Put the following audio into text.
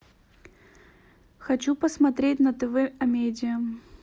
хочу посмотреть на тв а медиа